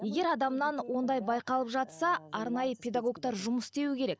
егер адамнан ондай байқалып жатса арнайы педагогтар жұмыс істеуі керек